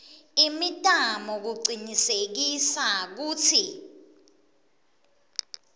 imitamo kucinisekisa kutsi